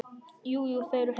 Jú, jú. þau eru heima.